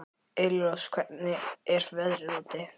Elírós, hvernig er veðrið úti?